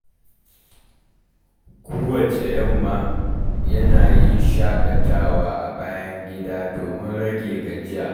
Kowacce yamma, yana yin shakatawa a bayan gida domin rage gajiya.